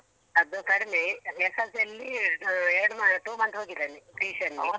ಅದು ಕಡಿಮೆ SSLC ಅಲ್ಲಿ ಎರಡು ಮ two months ಹೋಗಿದ್ದಾನೆ tuition ಗೆ.